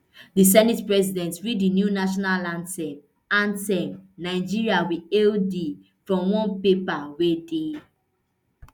di senate president read di new national anthem anthem nigeria we hail thee from one paper wey dey